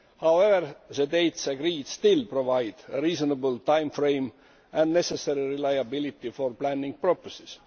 However, the dates agreed still provide a reasonable time frame and the necessary reliability for planning purposes.